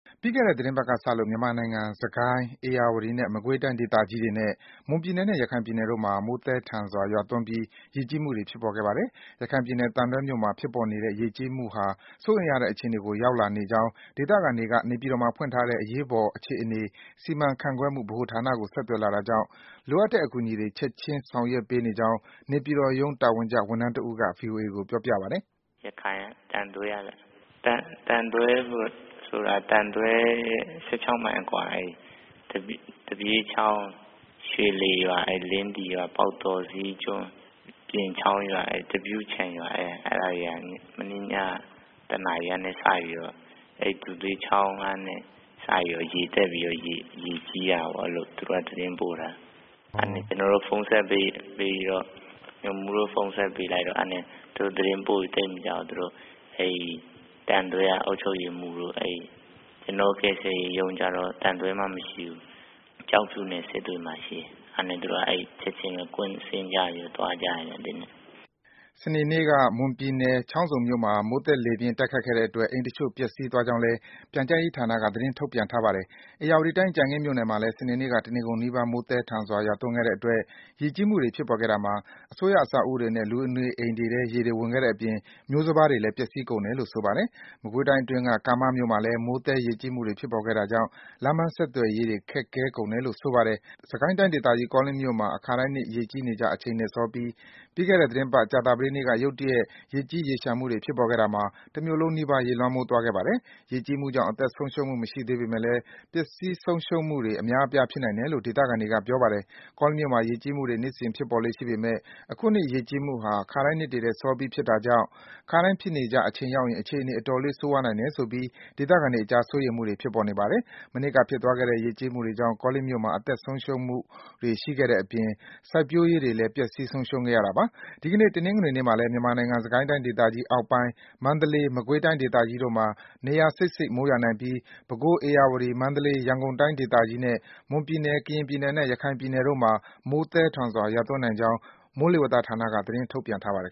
ပြီးခဲ့တဲ့ သီတင်းပတ်ကစလို့ မြန်မာနိုင်ငံ စစ်ကိုင်း၊ ဧရာဝတီနဲ့ မကွေးတိုင်းဒေသကြီးတွေနဲ့ မွန်ပြည်နယ်နဲ့ ရခိုင်ပြည်တို့မှာ မိုးသည်းထန်စွာ ရွာသွန်းပြီး ရေးကြီမှုတွေ ဖြစ်ပေါ်ခဲ့ပါတယ်။ ရခိုင်ပြည်နယ်၊ သံတွဲမြို့မှာ ဖြစ်ပေါ်နေတဲ့ ရေကြီးမှုဟာ စိုးရိမ်ရတဲ့ အခြေအနေကို ရောက်လာနေကြောင်း ဒေသခံတွေက နေပြည်တော်မှာဖွင့်ထားတဲ့ အရေးပေါ်အခြေအနေ စီမံခန့်ခွဲမှု ဗဟိုဌာနကို ဆက်သွယ်လာတာကြောင့် လိုအပ်တဲ့အကူအညီတွေ ချက်ခြင်း ဆောင်ရွက်ပေးနေကြောင်း နေပြည်တော်ရုံး တာဝန်ကျ ဝန်ထမ်းတဦးက ဗွီအိုအေကို ပြောပြပါတယ်။ “ရခိုင်၊ သံတွဲရဲ့ ၁၆ မိုင်အကွာ သူဋ္ဌေးချောင်း၊ ရွှေလှေရွာ၊ လင်းသီရွာ၊ ပေါက်တော၊ ဈေးကျွန်း၊ ပြင်ချောင်းရွာ၊ သပြုချိုင်ရွာ အဲဒါတွေက မနေ့ညက ၁ နာရီကနေစပြီးတော့ အဲဒီ သူဋ္ဌေးချောင်းကနေ စပြီး ရေတက်ပြီးတော့ ရေကြီးတာပေါ့။ သူက သတင်းပို့တာ။ ကျနော်တု့ိ ဖုန်းဆက်ပြီးတော့ ညွှန်မှူးကို ဖုန်းဆက်ပေးလိုက်တော့ သူတို့ သတင်းပို့ပြီး သိပ်မကြာဘူး။ သံတွဲက အုပ်ချုပ်ရေးမှူးတို့၊ ကျနော်တို့ ကယ်ဆယ်ရေးရုံးကျတော့ သံတွဲမှာ မရှိဘူး။ ကျောက်ဖြူနဲ့ စစ်တွေမှာရှိတယ်။ အဲဒါနဲ့ သူတို့က ချက်ခြင်းပဲ ကွင်းဆင်းပြီး သွားကြတယ်။” စနေနေ့က မွန်ပြည်နယ်၊ ချောင်းဆုံမြို့မှာ မိုးသက်လေပြင်း တိုက်ခတ်တဲ့အတွက် အိမ်တချို့ ပျက်စီးသွားကြောင်းလည်း ပြန်ကြားရေးဌာနက သတင်းထုတ်ပြန်ထားပါတယ်။ ဧရာဝတီတိုင်း၊ ကြံခင်းမြို့မှာလည်း စနေနေ့က တနေကုန်နီးပါး မိုးသည်းထန်စွာ ရွာသွန်းခဲ့တဲ့အတွက် ရေကြီးမှုတွေ ဖြစ်ပေါ်ခဲ့တာမှာ အစိုးရအဆောက်အဦးတွေနဲ့ လူနေအိမ်တွေထဲ ရေတွေဝင်ခဲ့တဲ့အပြင် မျိုးစပါးတွေလည်း ပျက်ဆီးကုန်တယ်လို့ ဆိုပါတယ်။ မကွေးတိုင်းအတွင်းက ကံမမြို့မှာလည်း မိုးသည်း ရေကြီးမှုတွေဖြစ်ပေါ်ခဲ့တာကြောင့် လမ်းပန်းဆက်သွယ်ရေး အခက်အခဲတွေ ဖြစ်ကုန်တယ်လို့ ဆိုပါတယ်။ စစ်ကိုင်းဒေသကြီး ကောလင်းမြို့မှာ အခါတိုင်းနှစ် ရေကြီးနေကျ အချိန်ထက်စောပြီး ပြီးခဲ့တဲ့ သီတင်းပတ် ကြာပတေးနေ့က ရုတ်တရက် ရေကြီး ရေလျှံမှုတွေ ဖြစ်ပေါ်ခဲ့တာမှာ တမြို့လုံးနီးပါး ရေလွှမ်းသွားခဲ့ပါတယ်။ ရေကြီးမှုကြောင့် အသက်ဆုံးရှုံးမှု မရှိပေမဲ့လည်း ပစ္စည်းဆုံးရှုံးမှုတွေ အများအပြား ဖြစ်နိုင်တယ်လို့ ဒေသခံတွေက ပြောပါတယ်။ ကောလင်း မြို့မှာ ရေကြီးမှုတွေ နှစ်စဉ် ဖြစ်ပေါ်လေ့ ရှိပေမဲ့လည်း အခုနှစ် ရေကြီးမှုဟာ ခါတိုင်းနှစ်တွေထက် စောပြီး ဖြစ်တာကြောင့် ခါတိုင်းဖြစ်နေကျ အချိန်ရောက်ရင် အခြေအနေ အတော်လေး ဆိုးရွားနိုင်တယ်ဆိုပြီး ဒေသခံတွေအကြား စိုးရိမ်မှုတွေ ဖြစ်ပေါ်နေပါတယ်။ မနှစ်က ကောလင်းမြို့မှာ ဖြစ်သွားခဲ့တဲ့ မိုးသည်း ရေကြီးမှုတွေကြောင့် အသက်ဆုံးရှုံးမှုတွေ ရှိခဲ့သလို စိုက်ပျိုးရေးတွေလည်း အများအပြား ပျက်စီးခဲ့ရတာပါ။ ဒီကနေ့ တနင်္ဂနွေနေ့မှာလည်း မြန်မာနိုင်ငံ စစ်ကိုင်းတိုင်းသေကြီးအောက်ပိုင်း၊ မန္တလေး၊ မကွေးတိုင်းဒေသကြီးတို့မှာ နေရာစိပ်စိပ် မိုးရွာနိုင်ပြီး ပဲခူး၊ ဧရာဝတီ၊ မန္တလေး၊ ရန်ကုန်တိုင်းဒေသကြီးတွေနဲ့ မွန်ပြည်နယ်၊ ကရင်ပြည်နယ်နဲ့ ရခိုင်ပြည်နယ်တို့မှာ မိုးသည်းထန်စွာ ရွာသွန်းနိုင်ကြောင်း မိုးလေဝသဌာနက သတင်းထုတ်ပြန်ထားပါတယ်